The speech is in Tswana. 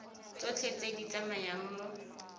tsotlhe tse di tsamayang mo